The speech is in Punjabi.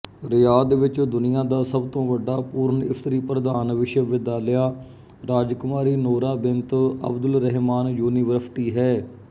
ਰਿਆਧ ਵਿੱਚ ਦੁਨੀਆਂ ਦਾ ਸਭ ਤੋਂ ਵੱਡਾ ਪੂਰਨਇਸਤਰੀਪ੍ਰਧਾਨ ਵਿਸ਼ਵਵਿਦਿਆਲਾ ਰਾਜਕੁਮਾਰੀ ਨੋਰਾ ਬਿੰਤ ਅਬਦੁਲਰਹਿਮਾਨ ਯੂਨੀਵਰਸਿਟੀ ਹੈ